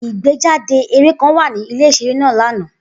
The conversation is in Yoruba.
Igbejade eré kan wa ni ile iṣere naa lana.